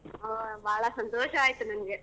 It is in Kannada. ಓ ಬಾಳಾ ಸಂತೋಷ ಆಯ್ತು ನಂಗೆ.